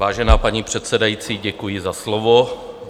Vážená paní předsedající, děkuji za slovo.